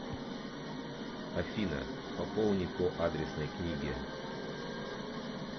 афина пополни по адресной книге